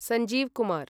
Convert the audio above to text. Sanjeev Kumar